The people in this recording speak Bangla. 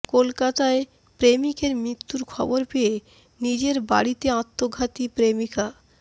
কলকাতায় প্রেমিকের মৃত্যুর খবর পেয়ে নিজের বাড়িতে আত্মঘাতী প্রেমিকা